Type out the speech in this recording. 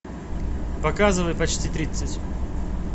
показывай почти тридцать